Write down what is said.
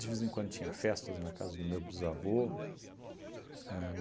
De vez em quando tinha festas na casa do meu bisavô. Ahn